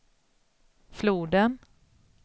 floden